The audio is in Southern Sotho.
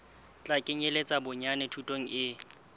tla kenyeletsa bonyane thuto e